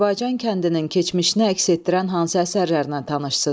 Azərbaycan kəndinin keçmişini əks etdirən hansı əsərlərlə tanışsız?